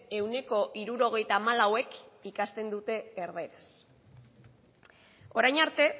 ehuneko hirurogeita hamalauek ikasten dute erdaraz orain arte